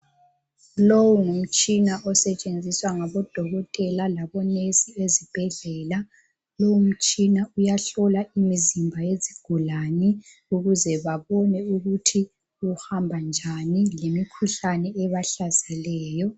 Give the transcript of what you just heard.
Lowu ngumtshina osetshenziswa ngabodokotela labonesi ezibhedlela. Lowu mtshina uyahlola imizimba yezigulane ukuze babone ukuthi kuhamba njani ngemikhuhlane ebahlaseleyo.